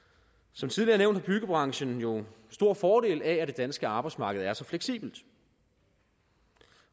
som tidligere nævnt har byggebranchen jo stor fordel af at det danske arbejdsmarked er så fleksibelt